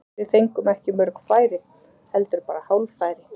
Við fengum ekki mörg færi, heldur bara hálffæri.